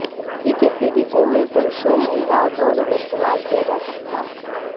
यह किसी भी उम्र पुरुषों और महिलाओं दोनों में इस्तेमाल किया जा सकता